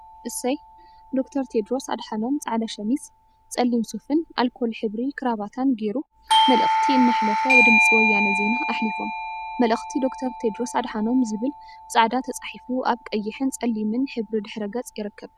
እሰይ ዶ/ር ቴድሮስ አድሓኖም ፃዕዳ ሸሚዝ፣ ፀሊም ሱፍን አልኮል ሕብሪ ከረባታን ገይሩ መልእክቲ እናአሕለፈ ብድምፂ ወያነ ዜና አሕሊፎም፡፡ መልእክቲ ዶ/ር ቴድሮስ አድሓኖም ዝብል ብፃዕዳ ተፃሒፉ አብ ቀይሕንፀሊምን ሕብሪ ድሕረ ገፅ ይርከብ፡፡